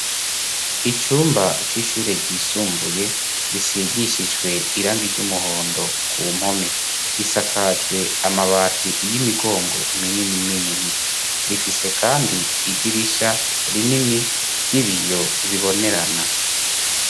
Icumba c'ishure ryisumbuye risigishijwe irangi ryumuhondo ku mpome. Risakajwe amabati y'imigongo minini minini. Rifise kandi idirisha rinini ry'ibiyo bibonerana.